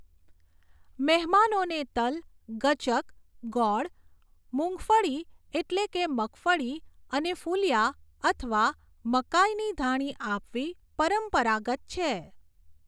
મહેમાનોને તલ, ગચક, ગોળ, મૂંગફળી એટલે કે મગફળી, અને ફૂલિયા અથવા મકાઇની ધાણી આપવી પરંપરાગત છે.